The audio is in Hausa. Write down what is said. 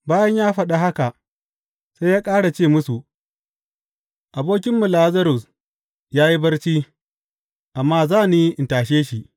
Bayan ya faɗa haka, sai ya ƙara ce musu, Abokinmu Lazarus ya yi barci, amma za ni in tashe shi.